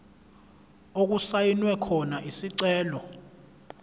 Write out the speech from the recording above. okusayinwe khona isicelo